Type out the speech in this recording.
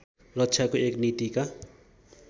रक्षाको एक नीतिका